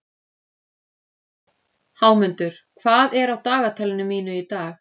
Hámundur, hvað er á dagatalinu mínu í dag?